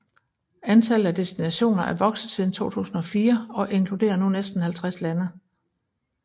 Antallet af destinationer er vokset siden 2004 og inkludere nu næste 50 lande